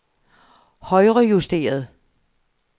højrejusteret